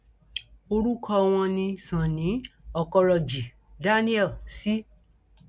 orúkọ wọn ni sonny ọkọrọjì daniel c